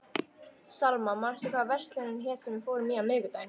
Salma, manstu hvað verslunin hét sem við fórum í á miðvikudaginn?